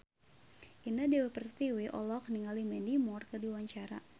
Indah Dewi Pertiwi olohok ningali Mandy Moore keur diwawancara